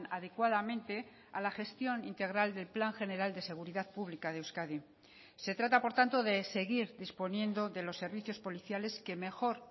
adecuadamente a la gestión integral del plan general de seguridad pública de euskadi se trata por tanto de seguir disponiendo de los servicios policiales que mejor